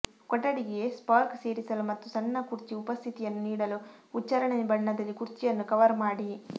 ಕೊಠಡಿಗೆ ಸ್ಪಾರ್ಕ್ ಸೇರಿಸಲು ಮತ್ತು ಸಣ್ಣ ಕುರ್ಚಿ ಉಪಸ್ಥಿತಿಯನ್ನು ನೀಡಲು ಉಚ್ಚಾರಣೆ ಬಣ್ಣದಲ್ಲಿ ಕುರ್ಚಿಯನ್ನು ಕವರ್ ಮಾಡಿ